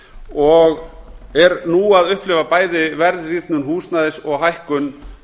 og er nú að upplifa bæði verðrýrnun húsnæðis og hækkun